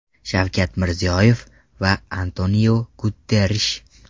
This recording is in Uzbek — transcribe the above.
Shavkat Mirziyoyev va Antoniu Guterrish.